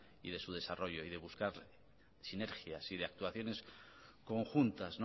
y de su desarrollo y de buscar sinergias y actuación conjuntas